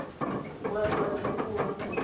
boagi ba leruri mo aforika